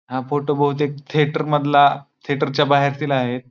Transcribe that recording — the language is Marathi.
हा फोटो बहुतेक थिएटर मधला थिएटर च्या बाहेरतील आहे.